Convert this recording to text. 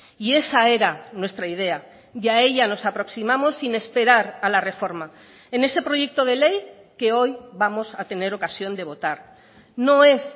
y esa era nuestra idea y a ella nos aproximamos sin esperar a la reforma en ese proyecto de ley que hoy vamos a tener ocasión de votar no es